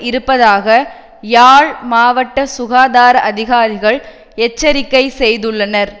இருப்பதாக யாழ் மாவட்ட சுகாதார அதிகாரிகள் எச்சரிக்கை செய்துள்ளனர்